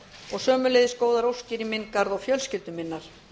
og sömuleiðis góðar óskir í minn garð og fjölskyldu minnar